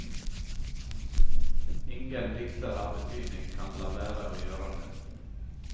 Ingen dikter av betydning kan la være å gjøre det.